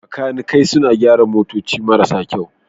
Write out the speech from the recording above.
Makanikai suna gyara motoci marasa kyau.